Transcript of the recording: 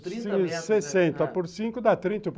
sessenta por cinco dá trinta